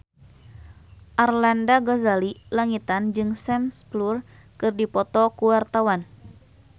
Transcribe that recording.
Arlanda Ghazali Langitan jeung Sam Spruell keur dipoto ku wartawan